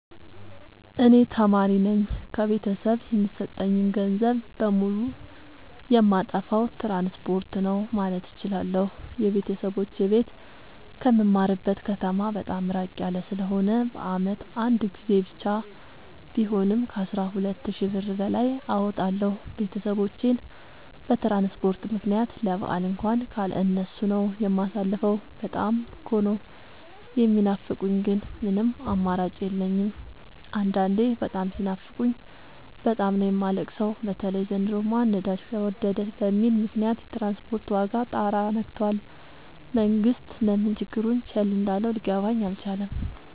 እኔ ተማሪነኝ ከቤተሰብ የሚሰጠኝን ገንዘብ በሙሉ ጨየማጠፋው ትራንስፖርት ነው። ማለት እችላለሁ። የቤተሰቦቼ ቤት ከምማርበት ከተማ በጣም እራቅ ያለ ስለሆነ በአመት አንድ ጊዜ ብቻ ቢሆንም ከአስራ ሁለት ሺ ብር በላይ አወጣለሁ። ቤተሰቦቼን በትራንስፖርት ምክንያት ለበአል እንኳን ካለ እነሱ ነው። የማሳልፈው በጣም እኮ ነው። የሚናፍቁኝ ግን ምንም አማራጭ የለኝም አንዳንዴ በጣም ሲናፍቁኝ በጣም ነው የማለቅ ሰው በተለይ ዘንድሮማ ነዳጅ ተወደደ በሚል ምክንያት የትራንስፖርት ዋጋ ጣራ የክቶል መንግስት ለምን ችግሩን ቸል እንዳለው ሊገባኝ አልቻለም።